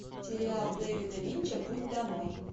сериал дэвида линча путь домой